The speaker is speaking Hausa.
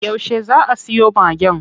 Yauce zaa a siyo Magen?